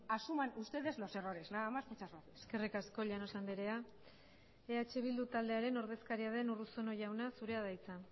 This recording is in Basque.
asuman ustedes los errores nada más muchas gracias eskerrik asko llanos andrea eh bildu taldearen ordezkaria den urruzuno jauna zurea da hitza